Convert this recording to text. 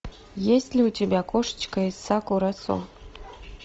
есть ли у тебя кошечка из сакурасо